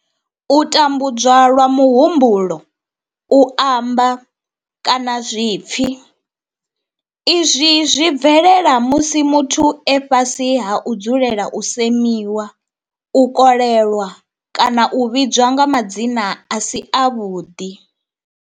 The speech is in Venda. U tambudzwa lwa muhumbulo, u amba, kana zwipfi izwi zwi bvelela musi muthu e fhasi ha u dzulela u semiwa, u kolelwa kana u vhidzwa nga madzina a si avhuḓi.